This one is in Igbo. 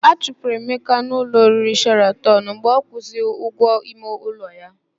A chụpụrụ Emeka na ụlọ oriri Sheratọn mgbe ọ kwụnwuzighi ụgwọ ime ụlọ ya.